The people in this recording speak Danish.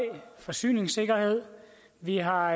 forsyningssikkerhed vi har